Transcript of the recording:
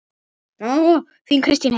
Þín Kristín Heiða.